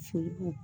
Soli